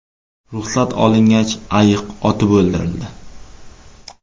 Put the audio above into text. Ruxsat olingach, ayiq otib o‘ldirildi.